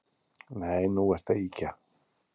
Nei, nú ertu að ýkja